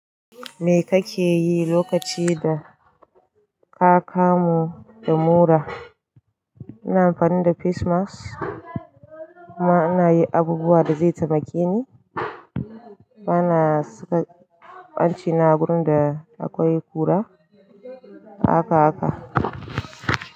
Me kake yi lokaci da ka kamu da mura? Ina amfani da facemask kuma ana yi abubuwa da zai taimake ni. Bana saka hanci na wurin da akwai kura, haka haka.